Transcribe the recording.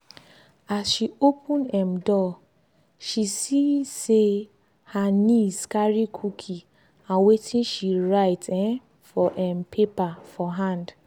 as she open um door she see say her niece carry cookie and watin she write um for um paper for hand.